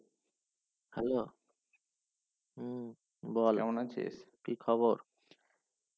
Hello হুম বল কেমন আছিস? কি খাবার